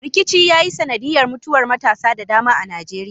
Rikici ya yi sanadiyar mutuwar matasa da dama a Najeriya.